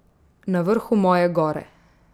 Na vrhu moje gore.